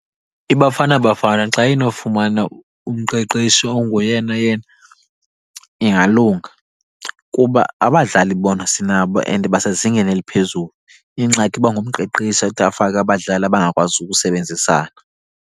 IBafana Bafana xa inofumana umqeqeshi ongoyena yena ingalunga, kuba abadlali bona sinabo and basezingeni eliphezulu. Ingxaki iba ngumqeqeshi athi afake abadlali abangakwazi ukusebenzisana.